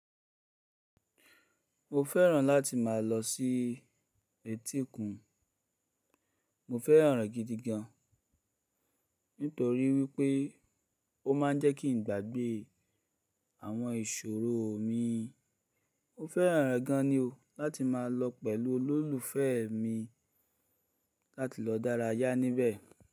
Mo fẹ́ràn láti máa lọ sí etíkun. Mo fẹ́ràn rẹ̀ gidigan nítorí wípé ó má ń jẹ́ kí n gbàgbé àwọn ìṣòro mi. Mo fẹ́ràn rẹ̀ gan ni o láti má lọ pẹ̀lú olólùfẹ́ mi láti lọ dárayá níbẹ̀.